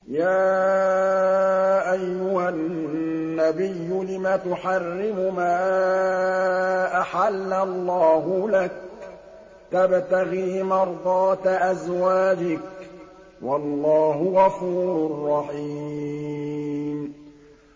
يَا أَيُّهَا النَّبِيُّ لِمَ تُحَرِّمُ مَا أَحَلَّ اللَّهُ لَكَ ۖ تَبْتَغِي مَرْضَاتَ أَزْوَاجِكَ ۚ وَاللَّهُ غَفُورٌ رَّحِيمٌ